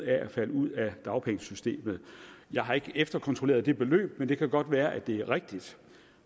at falde ud af dagpengesystemet jeg har ikke efterkontrolleret det beløb men det kan godt være at det er rigtigt